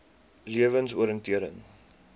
lewensoriëntering